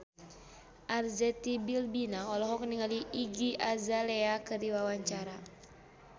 Arzetti Bilbina olohok ningali Iggy Azalea keur diwawancara